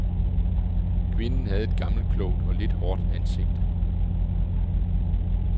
Kvinden havde et gammelklogt og lidt hårdt ansigt.